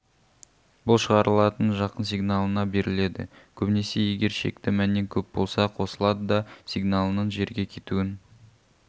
бұл шығарылатын жақын сигналына беріледі көбінесе егер шекті мәннен көп болса қосылады да сигналының жерге кетуін